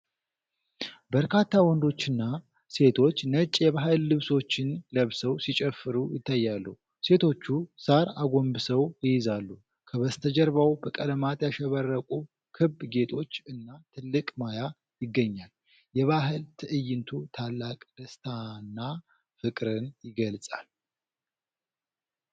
በርካታ ወንዶችና ሴቶች ነጭ የባህል ልብሶችን ለብሰው ሲጨፍሩ ይታያሉ። ሴቶቹ ሣር አጎንብሰው ይይዛሉ። ከበስተጀርባው በቀለማት ያሸበረቁ ክብ ጌጦች እና ትልቅ ማያ ይገኛል። የባህል ትዕይንቱ ታላቅ ደስታና ፍቅርን ይገልጻል።